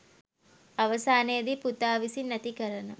අවසානයේදී පුතා විසින් ඇතිකරන